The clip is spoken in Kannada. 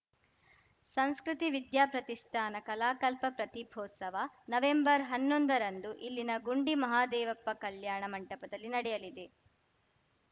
ಸಂಸ್ಕೃತಿ ವಿದ್ಯಾ ಪ್ರತಿಷ್ಠಾನ ಕಲಾಕಲ್ಪ ಪ್ರತಿಭೋತ್ಸವ ನವೆಂಬರ್ಹನ್ನೊಂದರಂದು ಇಲ್ಲಿನ ಗುಂಡಿ ಮಹದೇವಪ್ಪ ಕಲ್ಯಾಣ ಮಂಟಪದಲ್ಲಿ ನಡೆಯಲಿದೆ